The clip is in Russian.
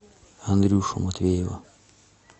андрюшу матвеева